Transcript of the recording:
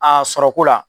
A sɔrɔko la